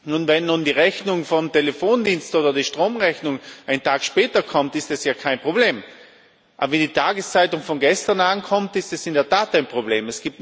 Nun, wenn die Rechnung vom Telefondienst oder die Stromrechnung einen Tag später kommt, ist das ja kein Problem, aber wenn die Tageszeitung von gestern ankommt, ist es in der Tat ein Problem.